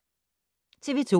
TV 2